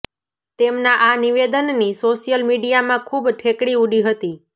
તેમના આ નિવેદનની સોશિયલ મીડિયામાં ખુબ ઠેકડી ઉડી હતી